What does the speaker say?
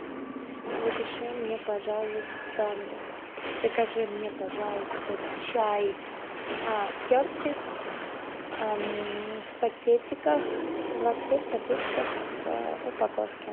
запиши мне пожалуйста закажи мне пожалуйста чай кертис в пакетиках двадцать пять пакетиков в упаковке